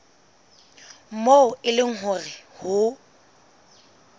moo e leng hore ho